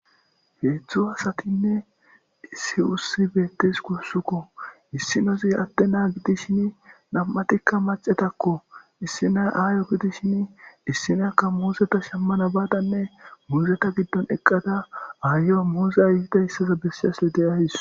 3 asatine 1 ussiy betesikko issinazi ade na'a gidishin nam'atika mac'atako issinas ayo gidishin issinayaka muzzeta Shamana badaka muzeta gidon eqada ayiyo muzey itidaysa besashe de'awus.